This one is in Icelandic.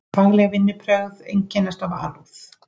Fagleg vinnubrögð einkennast af alúð.